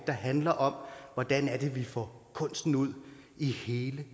der handler om hvordan det er vi får kunsten ud i hele